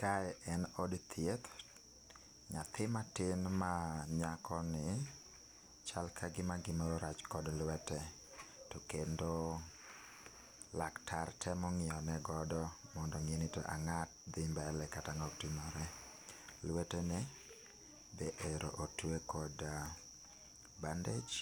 Kae en od thieth, nyathi matin ma nyako ni chal kagima gimoro rach kod lwete to kendo laktar temo ngiyo ne godo mondo ongeni ango dhi mbele kata ango otimore. Lweteni bende ero otwe kod bandage